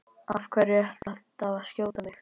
Af hverju ertu alltaf að skjóta á mig?